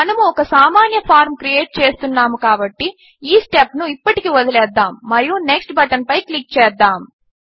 మనము ఒక సామాన్య ఫార్మ్ క్రియేట్ చేస్తున్నాము కాబట్టి ఈ స్టెప్ను ఇప్పటికి వదిలేద్దాము మరియు నెక్స్ట్ బటన్పై క్లిక్ చేద్దాము